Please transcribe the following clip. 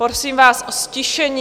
Prosím vás o ztišení.